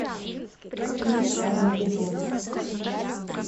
фильм армагеддон